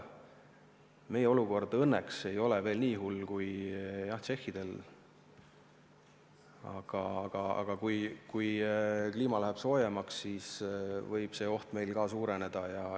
Õnneks meie olukord ei ole veel nii hull kui tšehhidel, aga kui kliima läheb soojemaks, siis võib see oht meil suureneda.